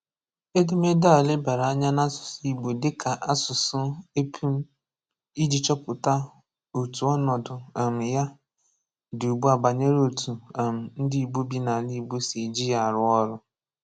Edẹmẹdẹ a lèbàra ànyà n'àsụsụ Igbo dịkà àsụsụ èpùm̀ ijị chọpụtà òtụ ọnọdụ um yà dị ùgbùà banyerè òtụ um ndị Igbo bì n'alà Igbo sì ejị yà árụ ọrụ.